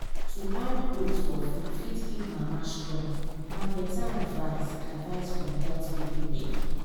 to add oats for food fit keep mama strong. na better advice advice from health people dem.